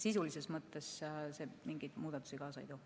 Sisulises mõttes see mingeid muudatusi kaasa ei too.